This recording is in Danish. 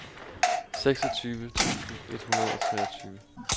seksogtyve tusind et hundrede og treogtyve